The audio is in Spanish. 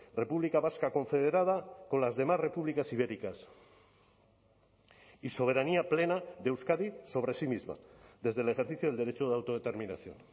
república vasca confederada con las demás repúblicas ibéricas y soberanía plena de euskadi sobre sí misma desde el ejercicio del derecho de autodeterminación